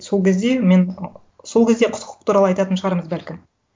сол кезде мен ы сол кезде құқық туралы айтатын шығармыз бәлкім